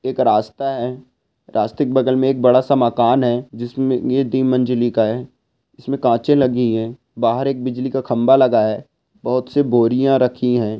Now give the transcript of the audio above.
एक रास्ता है। रास्ता के बगल में बड़ा सा मकान है। जिसमे ये मजलि का है। इसमें काँचे लगी है। बहार एक बिजली का खम्बा लगा हुआ है। बहुत से बोरियां रखी है।